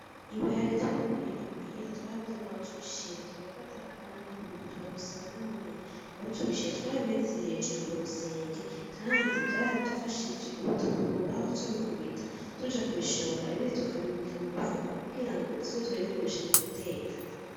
Ibiharage twimbuye imuhira twarabuze naho tubishira ,turafata kwa nyokuru turamusaba nahonyene aho tubishira ,twarabimanitse hejuru kurusenge Kandi vyaradufashije, ubu tubikuraho tubikubita, tuja kubishora ibindi tukabibika mumufuko kugirango tuzoze turabikoresha muguteka.